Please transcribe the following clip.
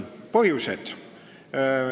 Põhjused.